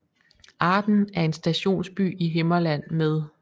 Arden er en stationsby i Himmerland med